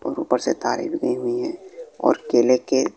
और ऊपर से तारे भी गई हुई है और केले के--